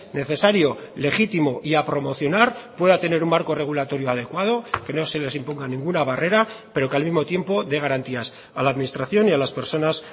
necesario legítimo y a promocionar pueda tener un marco regulatorio adecuado que no se les imponga ninguna barrera pero que al mismo tiempo dé garantías a la administración y a las personas